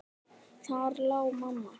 Þar lá mamma.